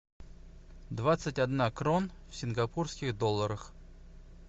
двадцать одна крон в сингапурских долларах